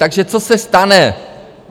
Takže co se stane?